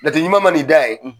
Jate ɲuman ma n'i da ye,